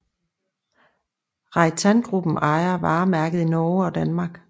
Reitangruppen ejer varemærket i Norge og Danmark